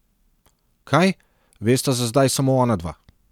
Kaj, vesta za zdaj samo onadva.